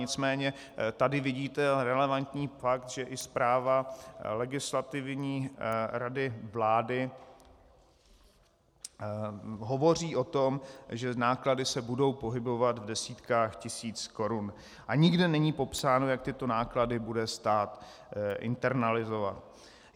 Nicméně tady vidíte relevantní fakt, že i zpráva Legislativní rady vlády hovoří o tom, že náklady se budou pohybovat v desítkách tisíc korun, a nikde není popsáno, jak tyto náklady bude stát internalizovat.